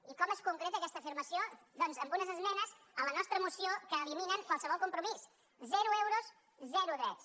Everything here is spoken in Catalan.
i com es concreta aquesta afirmació doncs amb unes esmenes a la nostra moció que eliminen qualsevol compromís zero euros zero drets